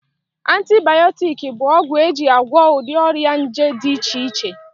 Antibayọtiki bụ ọgwụ eji agwọ ụdị ọrịa nje dị iche iche